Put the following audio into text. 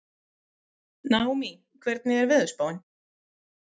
Naómí, hvernig er veðurspáin?